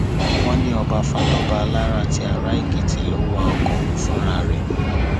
wọn ní ọba fatọba alára ti araèkìtì ló wa ọkọ ọhún fúnra rẹ